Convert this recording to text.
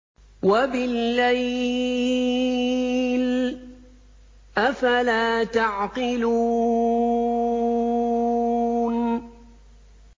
وَبِاللَّيْلِ ۗ أَفَلَا تَعْقِلُونَ